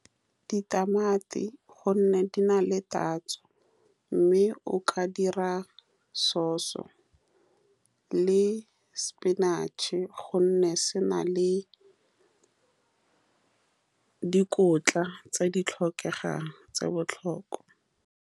Ditamati, ka gonne di na le tatso, mme o ka dira sause le sepinatšhe, ka gonne se na le dikotla tse di tlhokegang tsa botlhokwa.